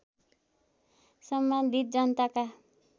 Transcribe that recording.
सम्बन्धित जनताका